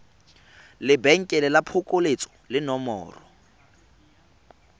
lebenkele la phokoletso le nomoro